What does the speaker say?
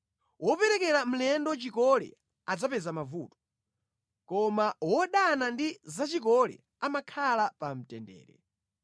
Woperekera mlendo chikole adzapeza mavuto, koma wodana ndi za chikole amakhala pa mtendere.